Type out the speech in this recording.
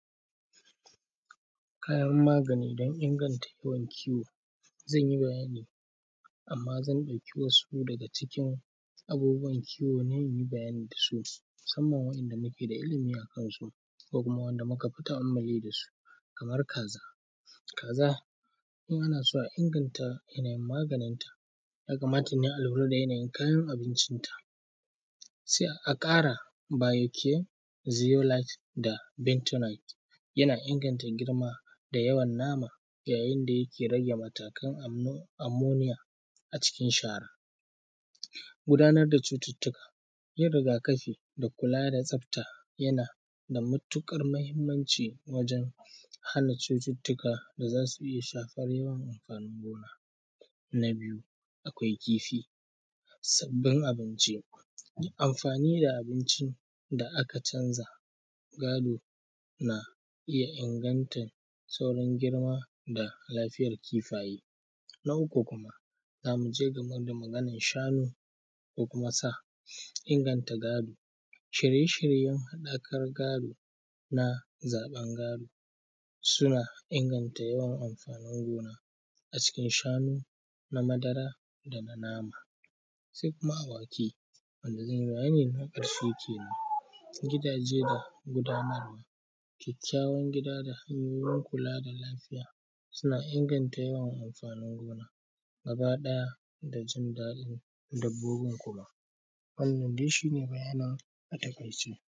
Kayan magani don inganta yawan kiwo zan yi bayani amma zan ɗauki wasu daga cikin abubuwan kiwon ne musamman wanda ko kuma muka fi ta`ammali da su kamar kaza, kaza ana so a inganta yanayin maganin ta ya kamata a lura da yanayin kayan abincin ta sai a ƙara “bio cheziolyte” da “bitolyte” yana inganta girma da yawan nama yayin da yake rage matakan a cikin shara gudanar da cututtuka yin riga kafi da kula da tsafta yana da matuƙar mahimmanci wajen hana cututtuka da zasu iya shafar yawan amfanin gona, na biyu, akwai kifi, sabbin abinci, amfani da abinci da aka canza gado na iya inganta saurin girma da lafiyan kifaye, na uku, zamu je game da maganan shanu ko kuma sa inganta gado shirye shiryen haɗakar gado na zaɓan gado suna inganta yawan amfanin gona a cikin shanu na madara da nama sai kuma awaki wanda na ƙarshe kenan gidaje da gudanarwa kyakkyawan gida ta hanyoyin kula da lafiya suna inganta yawan amfani gona gaba ɗaya da jin daɗin dabbobin kuma wannans dai shi ne bayanin a taƙaice.